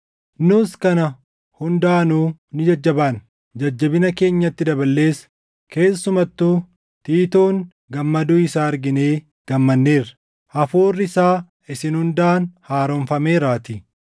Nuus kana hundaanuu ni jajjabaanna. Jajjabina keenyatti dabalees keessumattuu Tiitoon gammaduu isaa arginee gammanneerra; hafuurri isaa isin hundaan haaromfameeraatii.